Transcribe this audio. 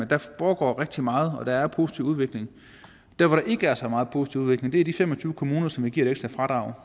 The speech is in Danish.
der foregår rigtig meget og der er en positiv udvikling der hvor der ikke er så meget positiv udvikling er i de fem og tyve kommuner som vi giver et ekstra fradrag